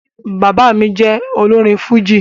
Bàbá mí jẹ olórin fújì